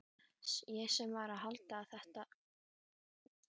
Ég sem var að halda þessa gleði fyrir þig!